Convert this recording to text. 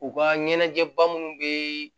U ka ɲɛnajɛba munnu bɛ